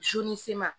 ni se ma